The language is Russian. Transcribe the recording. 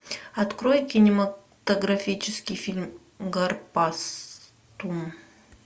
открой кинематографический фильм гарпастум